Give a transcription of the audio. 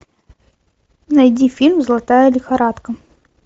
найди фильм золотая лихорадка